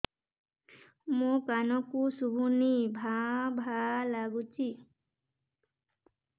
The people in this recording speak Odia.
ମୋ କାନକୁ ଶୁଭୁନି ଭା ଭା ଲାଗୁଚି